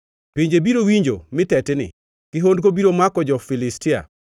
Pinje biro winjo mi tetni, kihondko biro mako jo-Filistia.